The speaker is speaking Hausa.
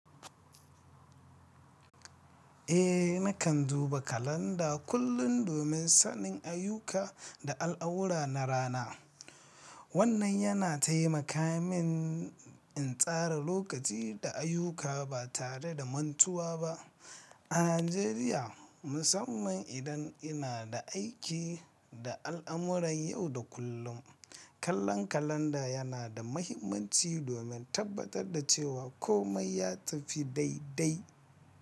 Eh, nakan duba kalanda kullun domin sanin ayyuka da al'amura na rana, wannan yana taimaka min, in tsara lokaci da ayyuka ba tare da mantuwa ba, a Najeriya, musamman idan ina da aiki da al'amuran yau da kullum, kallon kalanda yana da mahimmanci domin tabbatar da cewa komai ya tafi dai-dai.